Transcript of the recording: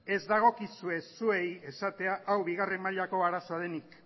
ez dagokizue zuei esatea hau bigarren mailako arazoa denik